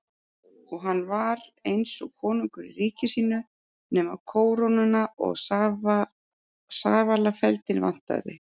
Og hann var eins og konungur í ríki sínu nema kórónuna og safalafeldinn vantaði.